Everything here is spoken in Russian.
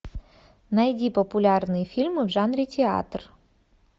найди популярные фильмы в жанре театр